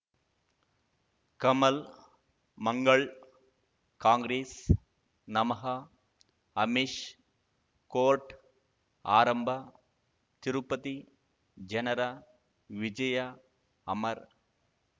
ಕಮಲ್ ಮಂಗಳ್ ಕಾಂಗ್ರೆಸ್ ನಮಃ ಅಮಿಷ್ ಕೋರ್ಟ್ ಆರಂಭ ತಿರುಪತಿ ಜನರ ವಿಜಯ ಅಮರ್